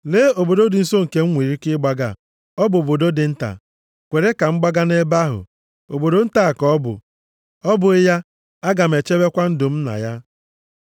Lee obodo dị nso nke m nwere ike ịgbaga. Ọ bụ obodo dị nta. Kwere ka m gbaga nʼebe ahụ. Obodo nta ka ọ bụ, ọ bụghị ya? Aga m echebekwa ndụ m na ya.”